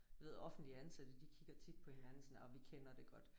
Jeg ved offentlige ansatte de kigger tit på hinanden sådan orh vi kender det godt